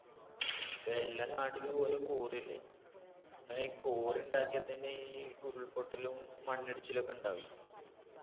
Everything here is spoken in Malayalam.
ഇപ്പെല്ലാ നാട്ടിലും ഒരോ quarry അല്ലേ അങ്ങനെ ഈ quarry ഇണ്ടാക്ക്യ തന്നെ ഈ ഉരുൾപൊട്ടലും മണ്ണിടിച്ചിലൊക്കെ ഇണ്ടാവെ